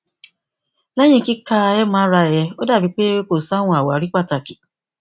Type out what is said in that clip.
lẹhin kika mri rẹ o dabi pe ko si awọn awari pataki